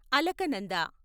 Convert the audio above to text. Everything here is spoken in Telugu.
అలకనంద